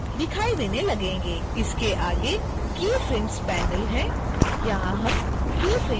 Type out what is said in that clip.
इसके आगे keyframes panel है यहाँ हम keyframes जोड़ेंगे